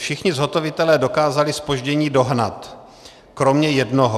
Všichni zhotovitelé dokázali zpoždění dohnat, kromě jednoho.